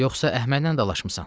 Yoxsa Əhmədlə dalaşmısan?